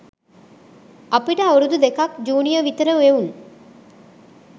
අපිට අවුරුදු දෙකක් ජූනියර් විතර එවුන්.